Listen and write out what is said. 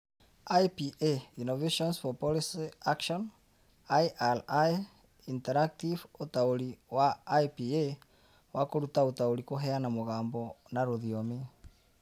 IPA Innovations for Policy Action IRI Interactive Ũtaũri wa IPA wa Kũruta Ũtaũri Kũheana Mũgambo na Rũthiomi